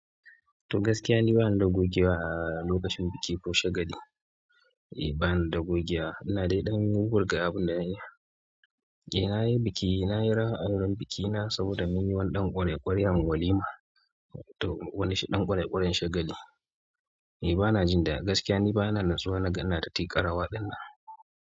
To gaskiya ni bani da gogewa a lokacin biki ko shagali. Eh bana da gogewa. Ina dai ɗan wuwwurga abinda dan'iya. Eh nayi biki, nayi rawa'awaren bikin na saboda mun yi wani ɗan ƙwarai ƙwaryan walima to wani ɗan ƙwarai ƙwaryan shagali. Eh bana jin da gaskiya ne bana natsuwa naga ina ti ƙarawa ɗinnan.